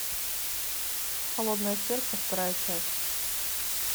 холодное сердце вторая часть